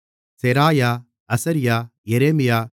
Seraiah Azariah Jeremiah